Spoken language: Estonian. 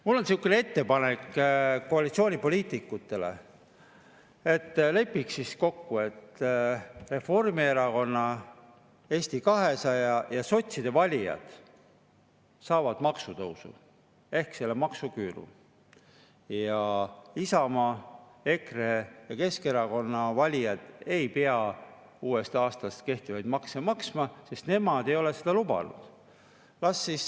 Mul on sihukene ettepanek koalitsioonipoliitikutele, et lepiks kokku, et Reformierakonna, Eesti 200 ja sotside valijad saavad maksutõusu ehk selle maksuküüru ja Isamaa, EKRE ja Keskerakonna valijad ei pea uuest aastast kehtivaid makse maksma, sest nemad ei ole seda.